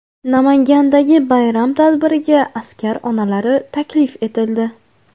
Namangandagi bayram tadbiriga askar onalari taklif etildi.